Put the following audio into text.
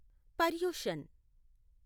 Paryushan